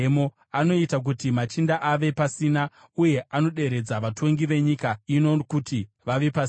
Anoita kuti machinda ave pasina, uye anoderedza vatongi venyika ino kuti vave pasina.